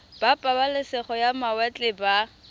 ba pabalesego ya mawatle ba